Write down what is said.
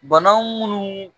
Bana mun